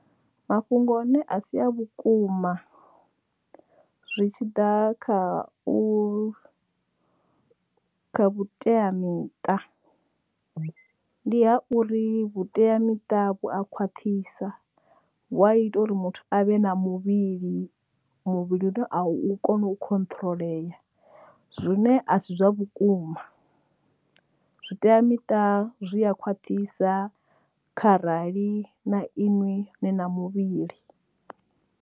Mafhungo ane a si a vhukuma zwi tshiḓa kha u vhuteamiṱa ndi ha uri vhuteamiṱa vhu a khwaṱhisa vhu a ita uri muthu avhe na muvhili muvhili a u kona u khotrolea zwine asi zwa vhukuma zwi teamiṱa zwi a khwaṱhisa kha rali na iṅwi na muvhili.